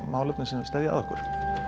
mál sem steðja að okkur